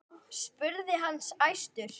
spurði hann æstur.